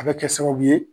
A bɛ kɛ sababu ye